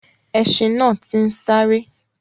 Ẹṣin náà ti ń sáré.